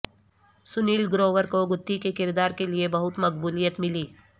سنیل گروور کو گتھی کے کردار کے لیے بہت مقبولیت ملی